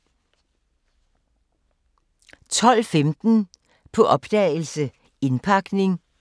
12:15: På opdagelse – Indpakning 00:15: På opdagelse – Indpakning *